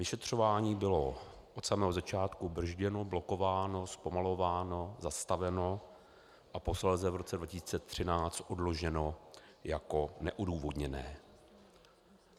Vyšetřování bylo od samého začátku brzděno, blokováno, zpomalováno, zastaveno a posléze v roce 2013 odloženo jako neodůvodněné.